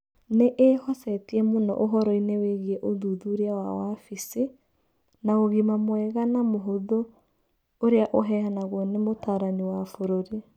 Nĩ ĩhocetie mũno ũhoro-inĩ wĩgiĩ ũthuthuria wa wabici, na ũgima mwega na mũhũthũ ũrĩa ũheanagwo nĩ mũtaarani wa bũrũri.